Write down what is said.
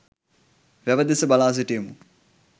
වැව දෙස බලා සිටියෙමු.